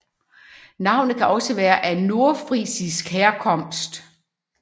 Navnet kan også være af nordfrisisk herkomst